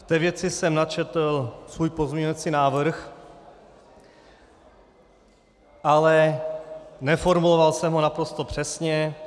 V té věci jsem načetl svůj pozměňovací návrh, ale neformuloval jsem ho naprosto přesně.